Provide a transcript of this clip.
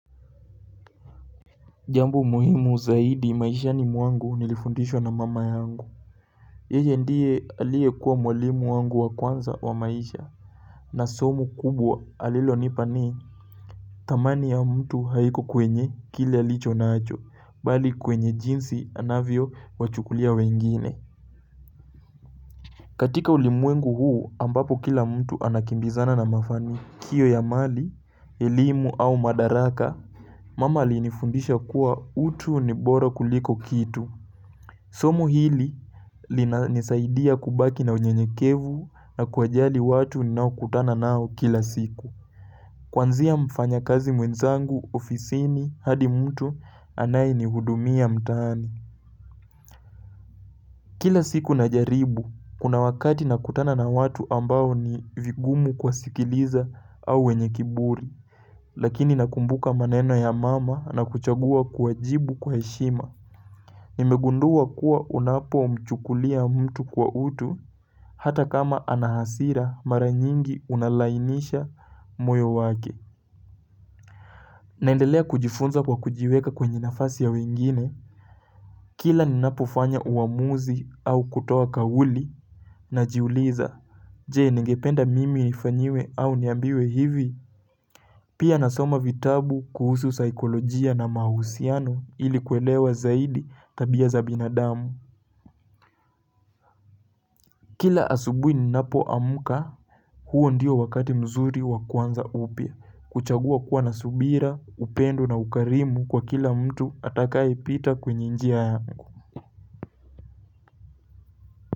Jambo muhimu zaidi maishani mwangu nilifundishwa na mama yangu Yeye ndiye aliekuwa mwalimu wangu wa kwanza wa maisha na somo kubwa alilonipa ni thamani ya mtu haiko kwenye kile alicho nacho bali kwenye jinsi anavyowachukulia wengine katika ulimwengu huu ambapo kila mtu anakimbizana na mafanikio ya mali elimu au madaraka Mama alinifundisha kuwa utu ni bora kuliko kitu Somo hili linanisaidia kubaki na unyenyekevu na kuwajali watu ninaokutana nao kila siku. Kwanzia mfanyakazi mwenzangu, ofisini, hadi mtu anayenihudumia mtaani. Kila siku najaribu, kuna wakati nakutana na watu ambao ni vigumu kuwasikiliza au wenye kiburi. Lakini nakumbuka maneno ya mama na kuchagua kuwajibu kwa heshima. Nimegundua kuwa unapomchukulia mtu kwa utu Hata kama ana hasira mara nyingi unalainisha moyo wake naendelea kujifunza kwa kujiweka kwenye nafasi ya wengine Kila ninapofanya uamuzi au kutoa kauli Najuliza Je ningependa mimi nifanyiwe au niambiwe hivi Pia nasoma vitabu kuhusu saikolojia na mahusiano ili kuelewa zaidi tabia za binadamu Kila asubuhi ninapoamka huo ndiyo wakati mzuri wa kuanza upya kuchagua kuwa na subira upendo na ukarimu kwa kila mtu atakayepita kwenye njia yangu.